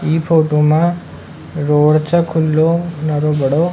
इ फोटो में रोड छ खुलो नरो बड़ो।